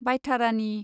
बायथारानि